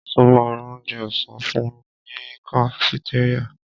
Ṣo ma ra onjẹ ọ̀sán fúnmi ní kafitéríà?